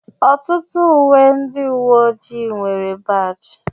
ọtụtụ uwe ndị uwe ojii nwere baajị